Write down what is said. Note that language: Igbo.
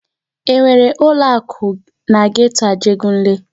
E nwere ụlọ akụ na geto Ajegunle?